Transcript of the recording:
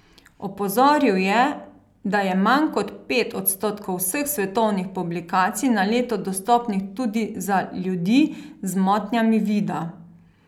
Opozoril je, da je manj kot pet odstotkov vseh svetovnih publikacij na leto dostopnih tudi za ljudi z motnjami vida.